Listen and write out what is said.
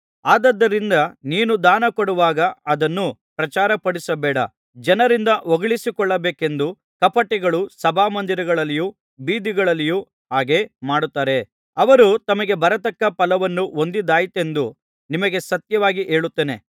ಆದುದರಿಂದ ನೀನು ದಾನಕೊಡುವಾಗ ಅದನ್ನು ಪ್ರಚಾರಪಡಿಸಬೇಡ ಜನರಿಂದ ಹೊಗಳಿಸಿಕೊಳ್ಳಬೇಕೆಂದು ಕಪಟಿಗಳು ಸಭಾಮಂದಿರಗಳಲ್ಲಿಯೂ ಬೀದಿಗಳಲ್ಲಿಯೂ ಹಾಗೆ ಮಾಡುತ್ತಾರೆ ಅವರು ತಮಗೆ ಬರತಕ್ಕ ಫಲವನ್ನು ಹೊಂದಿದ್ದಾಯಿತೆಂದು ನಿಮಗೆ ಸತ್ಯವಾಗಿ ಹೇಳುತ್ತೇನೆ